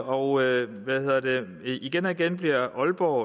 og igen og igen bliver aalborg